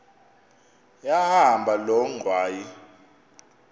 yahamba loo ngxwayi